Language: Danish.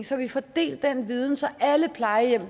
så vi får delt den viden så alle plejehjem